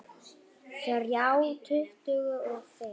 Þrjá tuttugu og fimm